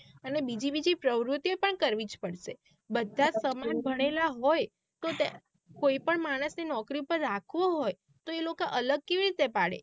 અને બીજી બીજી પ્રવૃતિઓ પણ કરવી જ પડશે બધા one જ સમાન ભણેલા one હોય તો કોઈ પણ માણસ ને નોકરી પાર રાખવો હોય તો એ લોકો અલગ કેવી રીતે પડે.